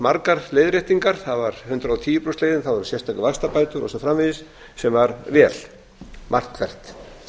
margar leiðréttingar það var hundrað og tíu prósenta leiðin það voru sérstakar vaxtabætur og svo framvegis sem var vel margt hvert